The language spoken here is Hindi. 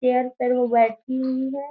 चेयर पर वो बैठी हुई है।